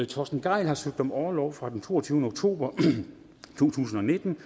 torsten gejl har søgt om orlov fra den toogtyvende oktober to tusind og nitten og